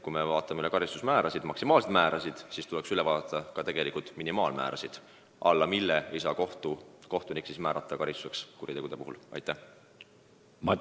Me vaatame enamasti maksimaalseid karistusmäärasid, aga tuleks üle vaadata ka minimaalmäärad, alla mille ei saa kohtunik teatud kuritegude puhul karistust määrata.